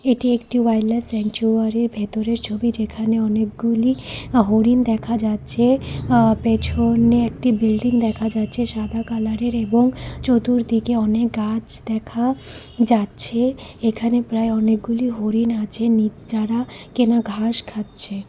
এটি একটি ভেতরের ছবি যেখানে অনেকগুলি হরিণ দেখা যাচ্ছে আঃ পেছনে একটি বিল্ডিং দেখা যাচ্ছে সাদা কালারের এবং চতুর্দিকে অনেক গাছ দেখা যাচ্ছে এখানে প্রায় অনেকগুলি হরিণ আছে নিজ যারা কেনা ঘাস খাচ্ছে।